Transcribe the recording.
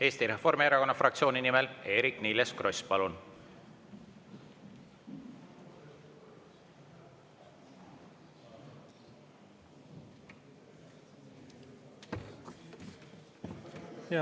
Eesti Reformierakonna fraktsiooni nimel Eerik-Niiles Kross, palun!